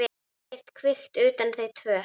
Ekkert kvikt utan þau tvö.